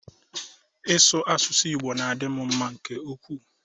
Ị sụ asụsụ Igbo na-adị m mma nke ukwuu